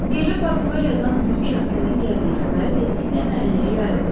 Gecə Portuqaliyadan mühüm şəxslərin gəldiyi xəbəri tezliklə məhəlləyə yayıldı.